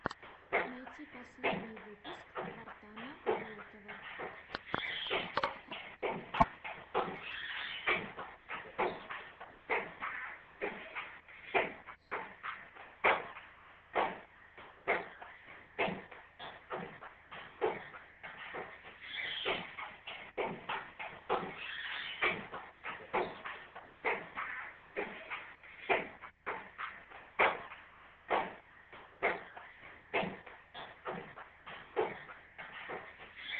найти последний выпуск вартана болотова